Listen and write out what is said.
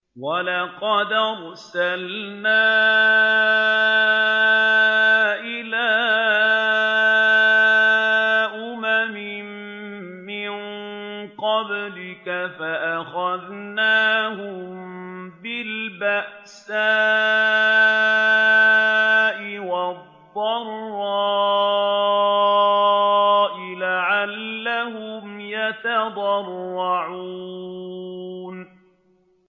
وَلَقَدْ أَرْسَلْنَا إِلَىٰ أُمَمٍ مِّن قَبْلِكَ فَأَخَذْنَاهُم بِالْبَأْسَاءِ وَالضَّرَّاءِ لَعَلَّهُمْ يَتَضَرَّعُونَ